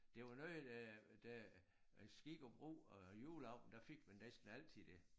Det var noget øh da skik og brug og juleaften der fik man næsten altid det